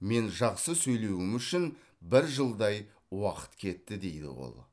мен жақсы сөйлеуім үшін бір жылдай уақыт кетті дейді ол